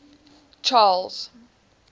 charles